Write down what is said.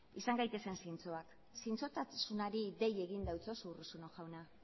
izan gaitezen zintzoak zintzotasunari dei egin dautsasu urruzuno jauna